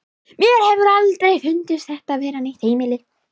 Mér hefur aldrei fundist þetta vera neitt heimili.